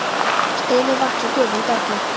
Streymi vatns og gufu í bergi